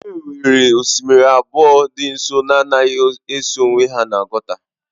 E nwere osimiri abụọ dị nso na-anaghị eso onwe ha n'Oguta